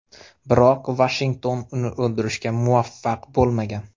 Biroq Vashington uni o‘ldirishga muvaffaq bo‘lmagan.